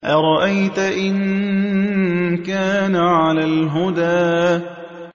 أَرَأَيْتَ إِن كَانَ عَلَى الْهُدَىٰ